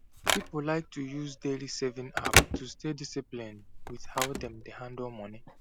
people like to use daily saving app to stay disciplined with how dem dey handle money